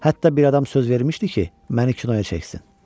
Hətta bir adam söz vermişdi ki, məni kinoya çəksin.